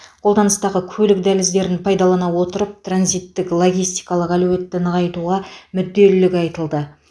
қолданыстағы көлік дәліздерін пайдалана отырып транзиттік логистикалық әлеуетті нығайтуға мүдделілік айтылды